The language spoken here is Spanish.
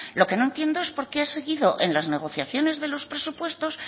lo que no entiendo es por qué ha seguido en las negociaciones de los presupuestos